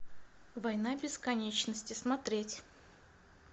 война бесконечности смотреть